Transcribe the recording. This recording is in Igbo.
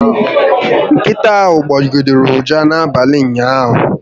Nkịta ahụ gbọgidere ụja n'abalị ụnyaahụ